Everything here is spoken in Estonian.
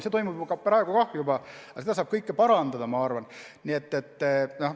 See toimub praegu ka, aga seda kõike saab parandada, ma arvan.